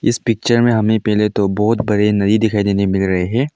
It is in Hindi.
इस पिक्चर हमें पहले तो बहुत बड़े नदी दिखाई देने को मिल रहा है।